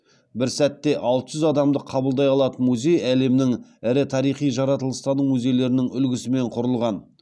бір сәтте алты жүз адамды қабылдай алатын музей әлемнің ірі тарихи жаратылыстану музейлерінің үлгісімен құрылған